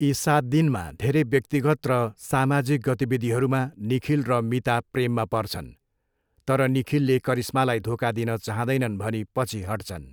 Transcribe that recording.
यी सात दिनमा, धेरै व्यक्तिगत र सामाजिक गतिविधिहरूमा, निखिल र मिता प्रेममा पर्छन्, तर निखिलले करिस्मालाई धोका दिन चाहँदैनन् भनी पछि हट्छन्।